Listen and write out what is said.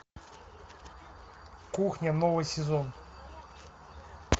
кухня новый сезон